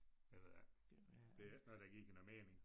Det ved jeg ikke det er ikke noget der giver noget mening